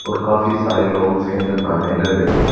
और काफी सारे लोग उसके अंदर नहाने लग रहे हैं।